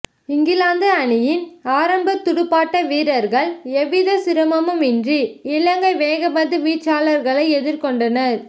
இங்கிலாந்து அணியின் ஆரம்ப துடுப்பாட்ட வீரர்கள் எவ்வித சிரமமும் இன்றி இலங்கை வேகப்பந்து வீச்சாளர்களை எதிர்கொண்டனர்